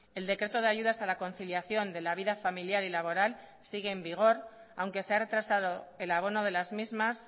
el decreto de ayudas a la conciliación de la vida familiar y laboral sigue en vigor aunque se ha retrasado el abono de las mismas